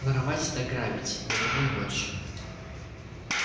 воровать да грабить для того и ночь